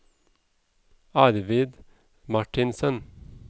Arvid Marthinsen